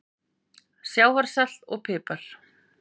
Sjávarsalt og pipar